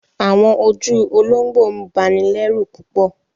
Awọn ojú ologbọ ń bàní lẹ̀rú púpọ̀